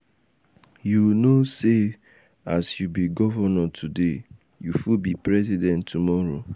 you no know sey as you be governor today you fit be president tomorrow.